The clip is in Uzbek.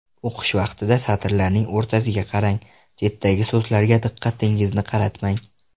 O‘qish vaqtida satrlarning o‘rtasiga qarang, chetdagi so‘zlarga diqqatingizni qaratmang.